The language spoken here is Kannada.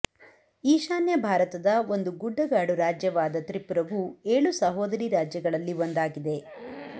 ಈಶಾನ್ಯ ಭಾರತದ ಒಂದು ಗುಡ್ಡಗಾಡು ರಾಜ್ಯವಾದ ತ್ರಿಪುರವು ಏಳು ಸಹೋದರಿ ರಾಜ್ಯಗಳಲ್ಲಿ ಒಂದಾಗಿದೆ